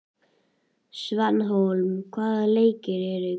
Svanhólm, hvaða leikir eru í kvöld?